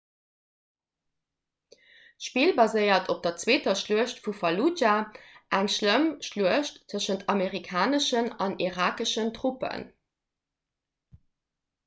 d'spill baséiert op der zweeter schluecht vu falludscha eng schlëmm schluecht tëschent amerikaneschen an irakeschen truppen